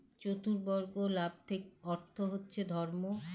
চতুর্বরগ লাভ ঠিক অর্থ হচ্ছে ধর্ম